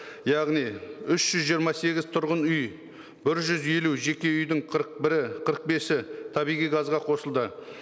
яғни үш жүз жиырма сегіз тұрғын үй бір жүз елу жеке үйдің қырық бесі табиғи газға қосылды